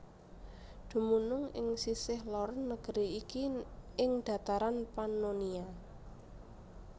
Dumunung ing sisih lor negeri iki ing dataran Pannonia